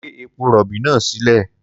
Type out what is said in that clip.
Gbé epo-rọ̀bì náà sílẹ̀.